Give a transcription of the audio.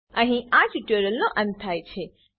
અહીં આ ટ્યુટોરીયલનો અંત થાય છે